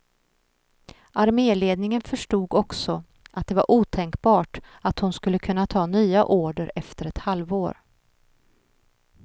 Arméledningen förstod också, att det var otänkbart att hon skulle kunna ta nya order efter ett halvår.